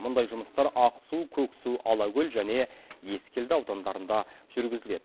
мұндай жұмыстар ақсу көксу алакөл және ескелді аудандарында жүргізіледі